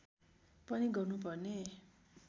पनि गर्नु पर्ने